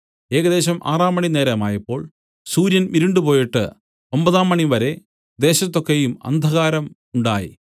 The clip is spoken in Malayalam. ഏകദേശം ആറാംമണി നേരമായപ്പോൾ സൂര്യൻ ഇരുണ്ടുപോയിട്ട് ഒമ്പതാം മണിവരെ ദേശത്തു ഒക്കെയും അന്ധകാരം ഉണ്ടായി